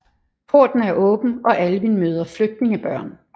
Porten er åben og Alvin møder flygtningebørn